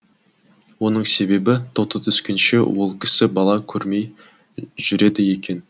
оның себебі тоты түскенше ол кісі бала көрмей жүреді екен